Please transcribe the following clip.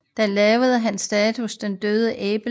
Der lavede han statuen Den døende Abel